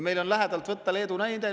Meil on lähedalt võtta Leedu näide.